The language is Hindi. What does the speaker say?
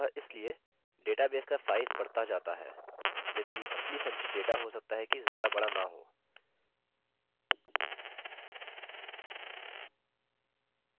अतः इसलिए database का size बढ़ता data है जबकि असली संचित data हो सकता है कि ज्यादा बड़ा न हो